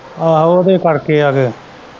ਆਹੋ ਉਹਦੇ ਕਰਕੇ ਯਾਰ।